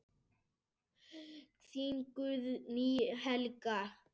Þín Guðný Helga.